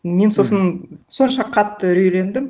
мен сосын сонша қатты үрейлендім